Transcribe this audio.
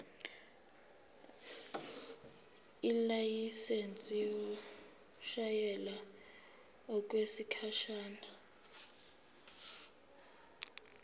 ilayisensi yokushayela okwesikhashana